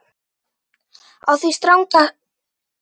Á því strangt bann.